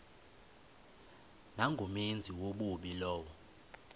nangumenzi wobubi lowo